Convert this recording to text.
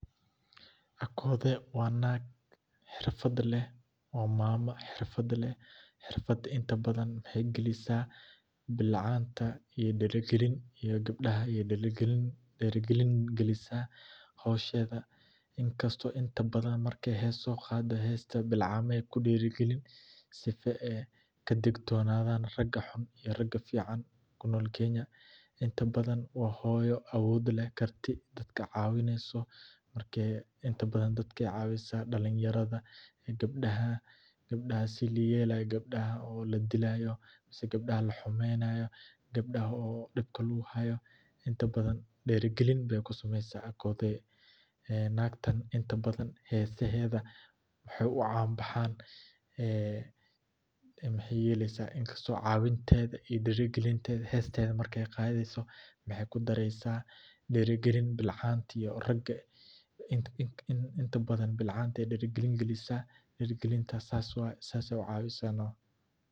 Akothe wa nag xerfad leh wa mamo herfad leh xerfad inta badhan waxey gilisaa bilcanta ii dirigilin ii gabdaha ayey diri galin gilisa howshedha inkasto intadhan markey hess soqado hesta bilcamaha ayey kudiri galin sifa eyy kadigtonadhan raga xunn iyo raga fican kunol kenya intabadhan wa hoyo awod leh karti dadka cawineyso marka intabadhan dadkey cawisa dalinyaradha, gabdaha, gabdaha sidha layelayo gabdaha oo ladilayoo gabdaha oo lahumeynayoo gabdaha oo dibka laguhayoo inta badhan diri galin bey kusameysa akothe nagtan inta badhan hesahedha waxey ucan bahan waxey yeleysa inkasto cawintedha iyo dirigalintedha hestedha markey qadheysoo waxay kudareysa diri galin bilcanta iyo raga inta badhan bilcantey dira gilin galisa diragilintas sas waye sasey ucawisa nh.